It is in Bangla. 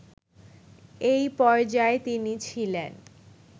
এই পর্যায়ে তিনি ছিলেন